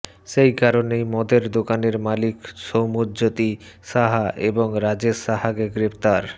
সেই কারণেই মদের দোকানের মালিক সৌম্যজ্যোতি সাহা এবং রাজেশ সাহাকে গ্রেফতার